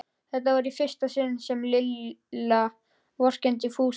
Þetta var í fyrsta sinn sem Lilla vorkenndi Fúsa.